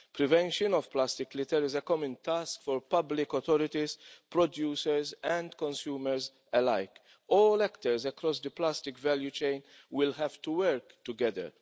Prevention of plastic litter is a common task for public authorities, producers and consumers alike. All actors across the plastic value chain will have to work together.